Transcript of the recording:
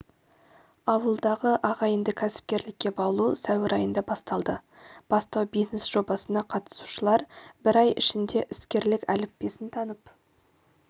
ауылдағы ағайынды кәсіпкерлікке баулу сәуір айында басталды бастау-бизнес жобасына қатысушылар бір ай ішінде іскерлік әліппесін танып